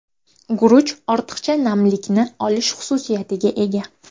Guruch ortiqcha namlikni olish xususiyatiga ega.